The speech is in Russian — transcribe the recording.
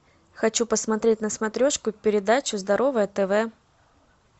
хочу посмотреть на смотрешке передачу здоровое тв